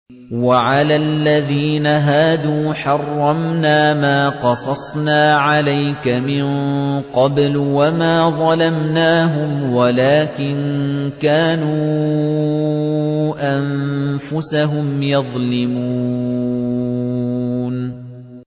وَعَلَى الَّذِينَ هَادُوا حَرَّمْنَا مَا قَصَصْنَا عَلَيْكَ مِن قَبْلُ ۖ وَمَا ظَلَمْنَاهُمْ وَلَٰكِن كَانُوا أَنفُسَهُمْ يَظْلِمُونَ